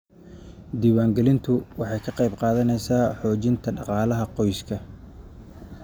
Diiwaangelintu waxay ka qayb qaadanaysaa xoojinta dhaqaalaha qoyska.